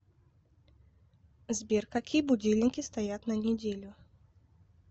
сбер какие будильники стоят на неделю